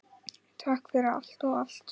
Takk fyrir allt og allt!